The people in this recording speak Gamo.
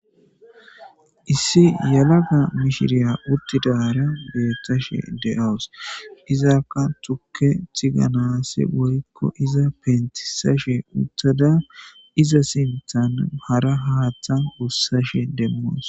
Issi yalaga mishiriya urtidara beethashe de7oos izakka tukke tiganasi woykko iza pentisashe uttada iza sinthan hara haaththa bussashe demmoos.